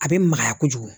A bɛ magaya kojugu